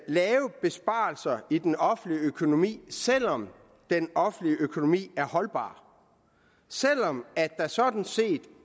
lave besparelser i den offentlige økonomi selv om den offentlige økonomi er holdbar selv om der sådan set